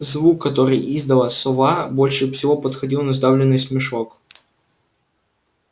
звук который издала сова больше всего походил на сдавленный смешок